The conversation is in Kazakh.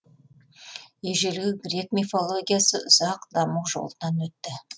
ежелгі грек мифологиясы ұзақ даму жолынан өтті